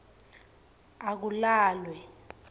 akulalwe